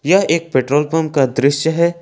यह एक petrol pump का दृश्य है।